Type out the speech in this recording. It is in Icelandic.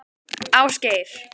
Ásgeir